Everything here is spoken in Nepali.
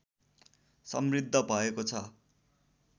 समृद्ध भएको छ